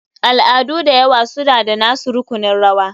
Al'adu da yawa suna da nasu rukunin rawa.